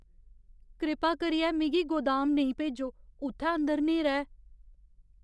कृपा करियै मिगी गोदाम नेईं भेजो। उत्थै अंदर न्हेरा ऐ।